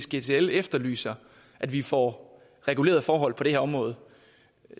gtl efterlyser at vi får regulerede forhold på det her område